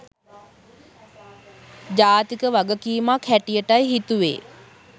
ජාතික වගකීමක් හැටියටයි හිතුවේ.